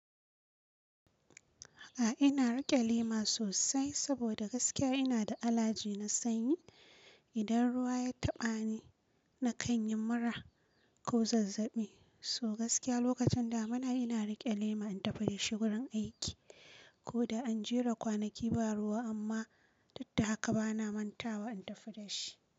A'a ina riƙe lema sosai saboda gaskiya ina da alaji na sanyi. Idan ruwa ya taɓa ni na kan yi mura ko zazzaɓi. So gaskiya lokacin damina ina riƙe lema in tafi da shi wurin aiki. Ko da an jera kwanaki ba ruwa amma duk da haka bana manta wa in tafi da shi.